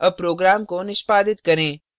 अब program को निष्पादित करें